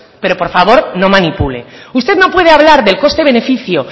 pero por favor no manipule usted no puede hablar del coste beneficio